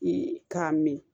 k'a min